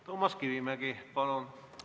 Toomas Kivimägi, palun!